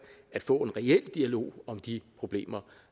at få en reel dialog om de problemer